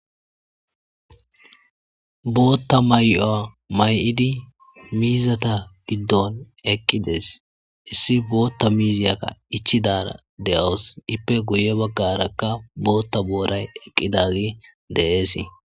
bootta may7uwa may7idi miizata giddon eqqides issi bootta miiziyakka ichidara de7owos ippe guye baggarakka bootta booray eqqidagi desi